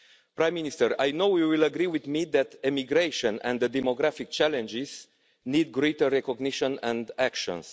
Prime Minister, I know you will agree with me that immigration and the demographic challenges need greater recognition and actions.